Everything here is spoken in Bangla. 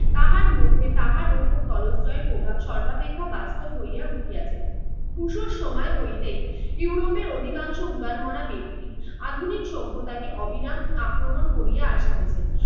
তাহার মধ্যে তাহার উপর টলস্টয়ের প্রভাব সর্বাপেক্ষা বাস্তব হইয়া উঠিয়াছে। রুশোর সময় হইতেই ইউরোপের অধিকাংশ উদারমনা ব্যক্তি আধুনিক সভ্যতাকে অবিরাম আক্রমণ করিয়া আসিতেছেন।